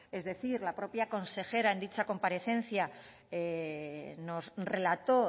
es decir la propia consejera en dicha comparecencia nos relató